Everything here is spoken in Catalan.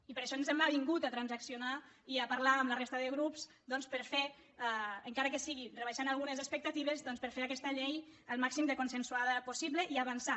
i per això ens hem avingut a transaccionar i a parlar amb la resta de grups doncs per fer encara que sigui rebaixant algunes expectatives doncs per fer aquesta llei el màxim de consensuada possible i avançar